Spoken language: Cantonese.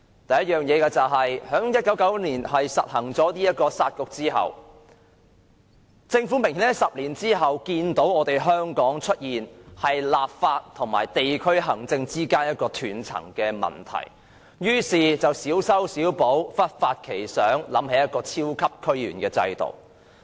第一，政府在1999年實行"殺局"後，在10年後明顯見到香港出現立法和地區行政之間的斷層問題，於是小修小補，忽發奇想，想出一個超級區議員制度。